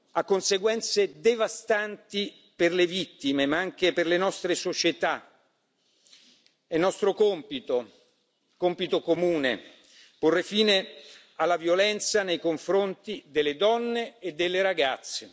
Ha conseguenze devastanti per le vittime ma anche per le nostre società. È nostro compito comune porre fine alla violenza nei confronti delle donne e delle ragazze.